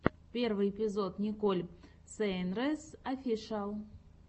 первый эпизод николь сейнрэс офишиал